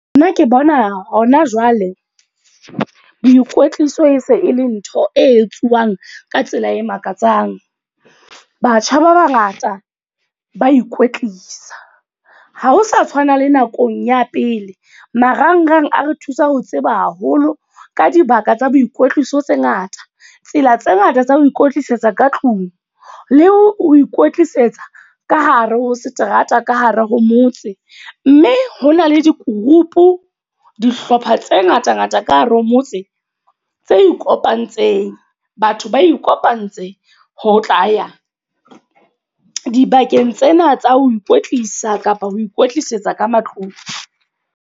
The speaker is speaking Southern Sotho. Nna ke bona hona jwale. Boikwetliso e se e le ntho e etsuwang ka tsela e makatsang. Batjha ba bangata ba ikwetlisa. Ha ho sa tshwana le nakong ya pele. Marangrang a re thusa ho tseba haholo ka dibaka tsa boikwetliso tse ngata. Tsela tse ngata tsa ho ikwetlisetsa ka tlung, le ho ikwetlisetsa ka hare ho seterata ka hare ho motse. Mme ho na le di-group, dihlopha tse ngata ngata ka hare ho motse tse kopantseng. Batho ba kopantse, ho tla ya dibakeng tsena tsa ho ikwetlisa. Kapa ho ikwetlisetsa ka matlung.